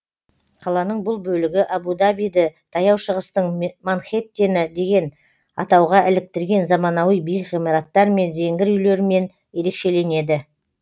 қаланың бұл бөлігі әбу дабиді таяу шығыстың манхеттені деген атауға іліктірген заманауи биік ғимараттар мен зеңгір үйлерімен ерекшеленеді